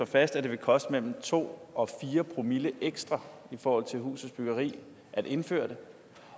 fast at det vil koste mellem to og fire promille ekstra i forhold til husets byggepris at indføre det